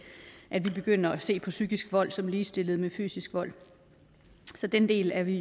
at vi begynder at se på psykisk vold som ligestillet med fysisk vold så den del er vi